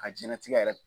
A jɛnnatigɛ yɛrɛ